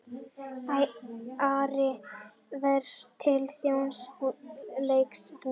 Ari fer til Þjóðleikhússins